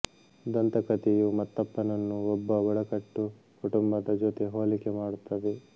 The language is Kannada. ದಂತಕಥೆಯು ಮತ್ತಪ್ಪನನ್ನು ಒಬ್ಬ ಬುಡಕಟ್ಟು ಕುಟುಂಬದ ಜೊತೆ ಹೋಲಿಕೆ ಮಾಡುತ್ತದೆ